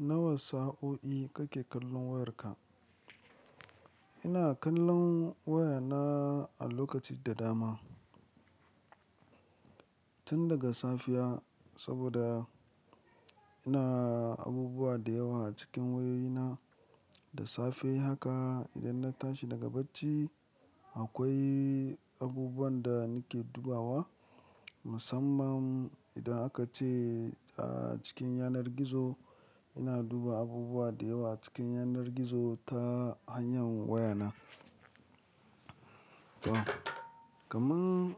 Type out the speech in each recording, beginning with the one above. Nawa sa'o'i kake kallon wayarka? Ina kallon wayana a lokaci da dama. Tun daga safiya saboda ina abubuwa da yawa a cikin wayoyi na, da safe haka idan na tashi daga bacci akwai abubuwan da nake dubawa. Musamman idan aka ce, cikin yanar gizo ina duba abubuwa da yawa a cikin yanar gizo ta hanyar wayana. To, kamar,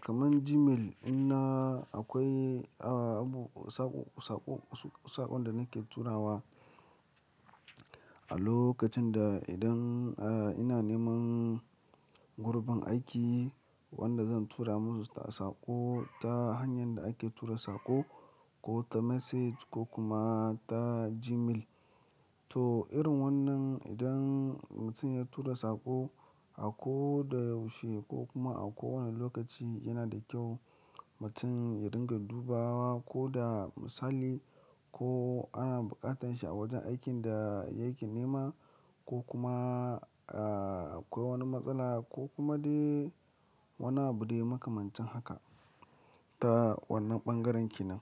kamar Gmail dina akwai, abu, sako, saƙon da nake turawa a lokacin da idan, ina neman gurbin aiki wanda zan tura musu ta saƙo ta hanyar da ake tura saƙo ko ta message ko kuma ta Gmail. To, irin wannan idan mutum ya tura saƙo a ko da yaushe ko kuma a kowane lokaci yana da kyau mutum ya dinga dubawa ko da misali ko ana buƙatar shi a wajen aikin da yake nema ko kuma, akwai wani matsala ko kuma dai wani abu dai makamancin haka ta wannan ɓangaren ki nan.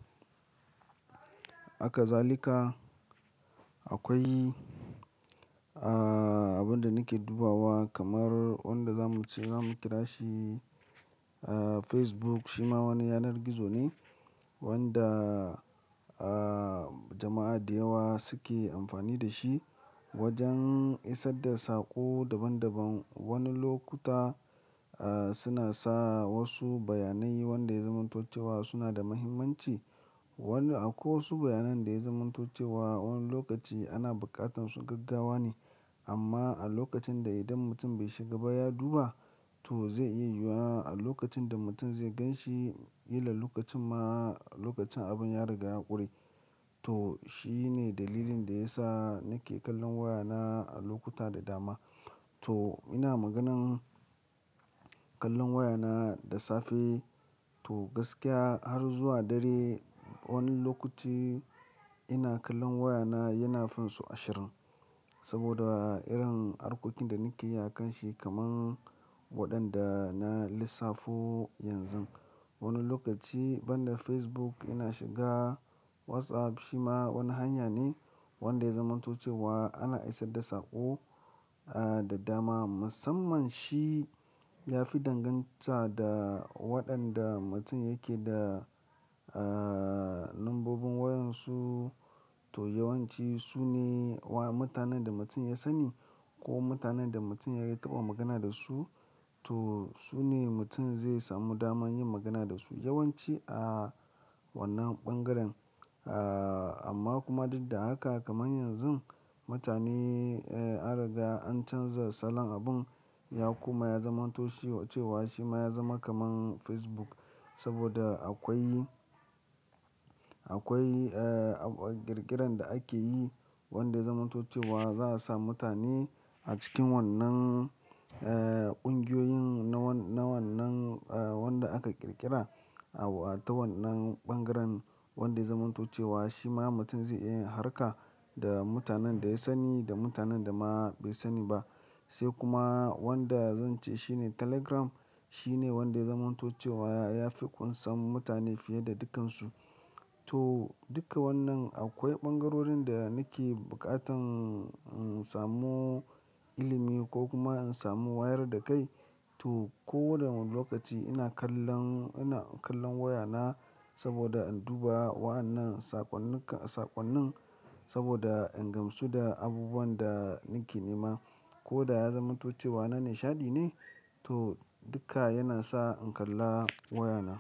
Haka zalika akwai, abun da nake dubawa kamar wanda zamu ce zamu kira shi, Facebook shi ma wani yanar gizo ne wanda, jama'a da yawa suke amfani da shi wajen isar da saƙo daban daban. Wani lokuta, suna sa wasu bayanai wanda ya zamanto cewa suna da mahimmanci. Wanda akwai wasu bayanan da ya zamanto cewa wani lokaci ana buƙatar su gaggawa ne. Amma a lokacin da idan mutum bai shiga ba ya duba to zai iya yiwuwa a lokacin da mutum zai gan shi, ƙilla lokacin ma lokacin abin ya riga ya ƙure. To, shi ne dalilin da ya sa nake kallon wayana a lokuta da dama. To, in a maganan kallon wayana da safe to gaskiya har zuwa dare wani lokaci ina kallon wayana yana finsu ashirin. Saboda irin harkokin da nake yi a kan shi kamar waɗanda na lissafo yanzu. Wani lokaci ban da Facebook ina shiga WhatsApp shi ma wani hanya ne wanda ya zamanto cewa ana isar da saƙo, da dama. Musamman shi ya fi danganta da waɗanda mutum yake da, lambobin wayan su. To, yawanci su ne mutanen da mutum ya sanni ko mutanen da mutum ya taɓa magana da su. To, su ne mutum zai samu dama yin magana da su yawanci a wannan ɓangaren. Ah, amma kuma duk da haka kamar yanzu mutane, an riga an canza salon abin ya kuma ya zamantoci cewa shi ma ya zama kamar Facebook. Saboda akwai, ƙirƙiran da ake yi wanda ya zamanto cewa za a samu mutane a cikin wannan, ƙungiyoyin na wannan, wanda aka ƙirƙira a ta wannan ɓangaren wanda ya zamanto cewa shi ma mutum zai iya harka da mutanen da ya sani da mutanen da ma bai sani ba. Sai kuma wanda zan ce shi ne Telegram. Shi ne wanda ya zamanto cewa ya fi ƙunsan mutane fiye da dukansu. To, dukka wannan akwai ɓangarorin da nake buƙatan in samu ilimi ko kuma in samu wayar da kai. To, ko da wani lokaci ina kallon, ina kallon wayana saboda in duba wa'annan saƙonnin saboda in gamsu da abubuwan da nake nema ko da ya zamanto cewa na nishaɗi ne. To, duka yana sa in kalla wayana.